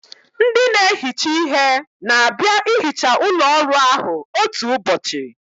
Ndị na-ehicha ihe na-abịa ihicha ụlọ ọrụ ahụ otu ụbọchị